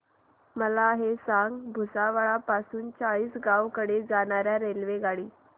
मला हे सांगा भुसावळ पासून चाळीसगाव कडे जाणार्या रेल्वेगाडी